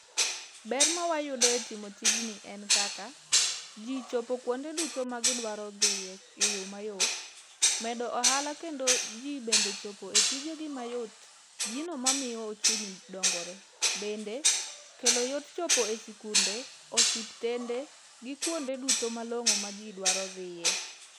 Ber ma wayudo e timo tijni en kaka, ji chopo kuonde duto ma gidwaro dhiye eyo mayot, medo ohala kendo ji bende chopo e tijegi mayot. Gino mamiyo ochumi dongore . Bende kelo yot chopo e sikunde, osiptende gi kuonde duto malong'o maji dwaro dhiye.